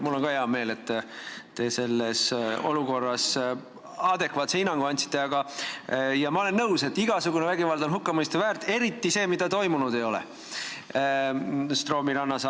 Mul on ka hea meel, et te selles olukorras adekvaatse hinnangu andsite, ja ma olen nõus, et igasugune vägivald on hukkamõistu väärt, eriti see, mida Stroomi rannas toimunud ei ole.